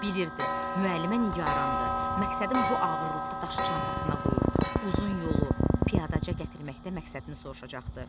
Bilir idi müəllimə nigarandı, məqsədin bu ağırlıqda daşı çantasına qoyub uzun yolu piyadaca gətirməkdə məqsədini soruşacaqdı.